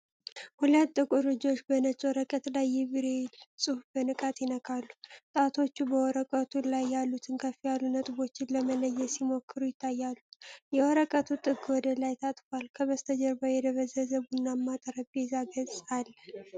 ሁለት ጥቁር እጆች በነጭ ወረቀት ላይ የብሬይል ጽሑፍ በንቃት ይነካሉ። ጣቶቹ በወረቀቱ ላይ ያሉትን ከፍ ያሉ ነጥቦችን ለመለየት ሲሞክሩ ይታያሉ። የወረቀቱ ጥግ ወደ ላይ ታጥፏል፤ ከበስተጀርባ የተደበዘዘ ቡናማ የጠረጴዛ ገጽ አለ።